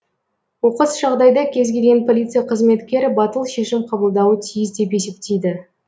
оқыс жағдайда кез келген полиция қызметкері батыл шешім қабылдауы тиіс деп есептейді